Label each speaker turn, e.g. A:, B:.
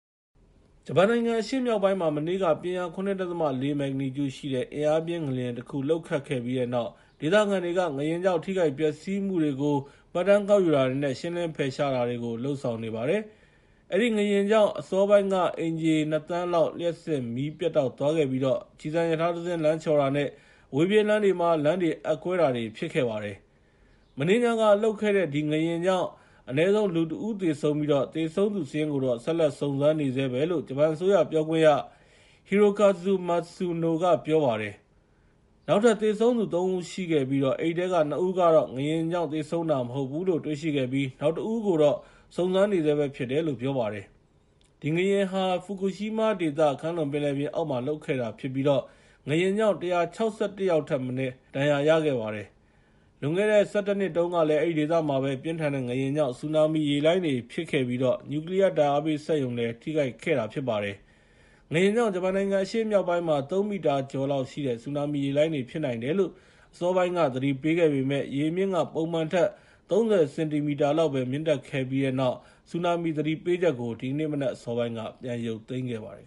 A: ဂျပန်နိုင်ငံအရှေ့မြောက်ပိုင်းမှာ မနေ့က ပြင်းအား ၇.၄ ရှိတဲ့ အင်အားပြင်း ငလျင်တခု လှုပ်ခတ်ခဲ့ပြီးတဲ့နောက် ဒေသခံတွေက ငလျင်ကြောင့် ထိခိုက်ပျက်စီးမှုတွေကို မှတ်တမ်းကောက်ယူတာတွေနဲ့ ရှင်းလင်းဖယ်ရှားတာတွေ လုပ်ဆောင်နေပါတယ်။ အဲဒီငလျင်ကြောင့် အစောပိုင်းမှာ အိမ်ခြေ ၂ သန်းလောက် လျှပ်စစ်မီး ပြတ်တောက်သွားခဲ့ပြီးတော့ ကျည်ဆန်ရထားတစင်း လမ်းချော်တာနဲ့ အဝေးပြေးလမ်းတွေ အက်ကွဲတာမျိုး ဖြစ်ခဲ့ပါတယ်။ မနေ့ညကလှုပ်ခဲ့တဲ့ ဒီငလျင်ကြောင့် အနည်းဆုံး လူ ၁ ဦး သေဆုံးခဲ့ပြီး သေဆုံးသူစာရင်းကိုတော့ ဆက်လက် စုံစမ်းနေဆဲပဲလို့ ဂျပန်အစိုးရပြောခွင့်ရ Hirokazu Matsuno က ပြောပါတယ်။ နောက်ထပ် သေဆုံးသူ ၃ ဦးရှိခဲ့ပြီး အဲဒီထဲက ၂ ဦးကတော့ ငလျင် ကြောင့် သေဆုံးတာ မဟုတ်ဘူးလို့ တွေ့ရှိခဲ့ပြီး နောက်တဦးကိုတော့ စုံစမ်းစစ်ဆေးနေဆဲဖြစ်တယ်လို့လည်း ပြောပါတယ်။ ဒီငလျင်ဟာ ဖူကူရှီးမားဒေသ ကမ်းလွန်ပင်လယ်ပြင်အောက်မှာ လှုပ်ခဲ့တာဖြစ်ပြီး ငလျင်ကြောင့် လူ ၁၆၁ ယောက် ဒဏ်ရာရရခဲ့ပါ တယ်။ လွန်ခဲ့တဲ့ ၁၁ နှစ်တုန်းကလည်း အဲဒီဒေသမှာပဲ ပြင်းထန်တဲ့ငလျင်ကြောင့် ဆူနာမီရေလှိုင်းတွေဖြစ်ပြီး နျူကလီယား ဓာတ်အားပေးစက်ရုံလည်း ထိခိုက်ခဲ့တာဖြစ်ပါတယ်။ ငလျင်ကြောင့် ဂျပန်နိုင်ငံ အရှေ့မြောက်ပိုင်းမှာ ၃ မီတာကျော်လောက်ရှိတဲ့ ဆူနာမီရေလှိုင်းတွေဖြစ်နိုင်တယ်လို့ အစောပိုင်းက သတိပေးခဲ့ပေမယ့် ရေအမြင့်က ပုံမှန်ထက် ၃၀ စင်တီမီတာလောက်ပဲ မြင့်တက်ခဲ့ပြီးတဲ့နောက် ဆူနာမီသတိပေးချက်ကို ဒီကနေ့မနက်အစောပိုင်းမှာ ပြန်ရုပ်သိမ်းခဲ့ပါတယ်